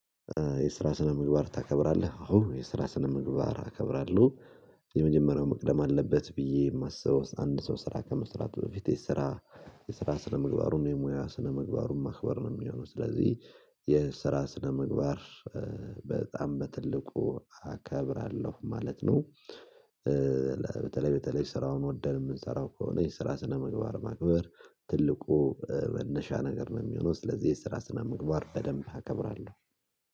የስራ ስነ ምግባር ታከብራለህ አዎ የስራ ስነ ምግባር አከብራለሁ። የመጀመሪያው መቅደም አለበት ብዬ የማስበው አንድ ሰው ስራ ከመስራት በፊት የስራ የስራ ስነምግባሩን የሙያ ስነምግባሩን ማክበር ነው የሚሆነው ስለዚህ። የስራ ስነምግባር በጣም በትልቁ አከብራለሁ ማለት ነው። በተለይ በተለይ ስራውን ወደን የምንሰራው ከሆነ የስራ ስነምግባር ማክበር ትልቁ መነሻ ነገር ነው የሚሆነው። ስለዚህ የስራ ስናምግባር በደንብ አከብራለሁ።